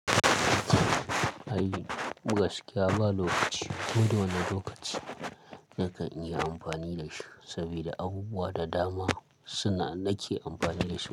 Ai gaskiya ba lokaci wada wani lokaci zaka iya amfani da shi saboda abubuwa da dama suna sake amfani da shi.